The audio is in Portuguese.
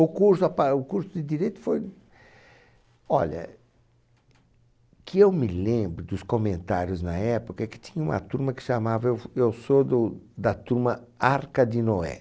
O curso a pa o curso de Direito foi... Olha, o que eu me lembro dos comentários na época é que tinha uma turma que chamava... Eu eu sou do da turma Arca de Noé.